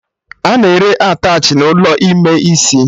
A na-ere attachị n'ụlọ ime isi